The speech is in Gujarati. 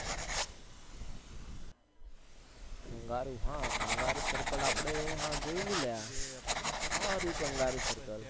કંગારૂ હા કંગારૂ circle આપણે જોઈલું ક્યાં આ રહયું કંગારૂ circle